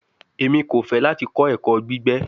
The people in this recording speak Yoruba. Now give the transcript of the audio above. Emi ko fẹ lati kọ ẹkọ gbigbe